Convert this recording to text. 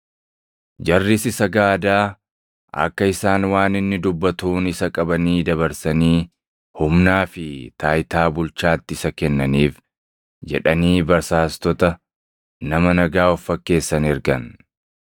Jarris isa gaadaa, akka isaan waan inni dubbatuun isa qabanii dabarsanii humnaa fi taayitaa bulchaatti isa kennaniif jedhanii basaastota nama nagaa of fakkeessan ergan.